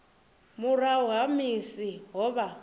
murahu ha musi ho vha